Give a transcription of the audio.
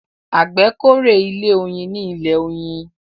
àgbè k'ore ilé oyin ní ilè oyin